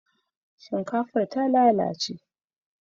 shinkafan ta lalace